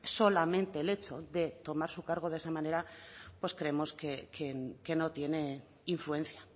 solamente el hecho de tomar su cargo de esa manera pues creemos que no tiene influencia